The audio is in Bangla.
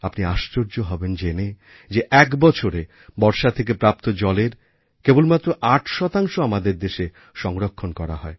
আপনি আশ্চর্য হবেন জেনে যে এক বছরে বর্ষাথেকে প্রাপ্ত জলের কেবল মাত্র ৮ শতাংশ আমাদের দেশে সংরক্ষণ করা হয়